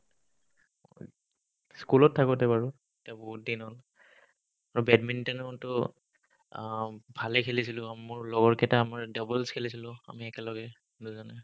school ত থাকোতে বাৰু এতিয়া বহুত দিন হ'ল বেডমিনটেনো কিন্তু আহ ভালে খেলিছিলো উম মোৰ লগৰ কেইটাই আমাৰ doubles খেলিছিলো আমি একেলগে দুজনে